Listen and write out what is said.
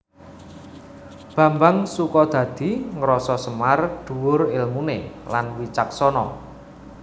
Bambang Sukodadi ngrasa Semar dhuwur èlmuné lan wicaksana